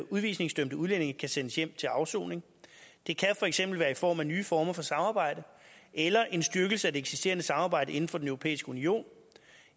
udvisningsdømte udlændinge kan sendes hjem til afsoning det kan for eksempel være i form af nye former for samarbejde eller en styrkelse af det eksisterende samarbejde inden for den europæiske union